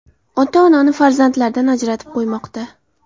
Ota-onani farzandlardan ajratib qo‘ymoqda”.